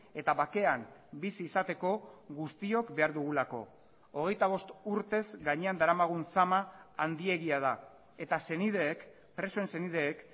eta bakean bizi izateko guztiok behar dugulako hogeita bost urtez gainean daramagun sama handiegia da eta senideek presoen senideek